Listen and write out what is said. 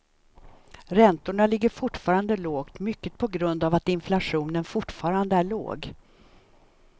Räntorna ligger fortfarande lågt, mycket på grund av att inflationen fortfarande är låg.